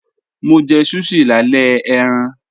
Mo jẹ̀ sushi làlẹ̀ ẹ̀ran.